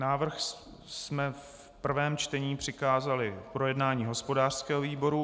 Návrh jsme v prvém čtení přikázali k projednání hospodářskému výboru.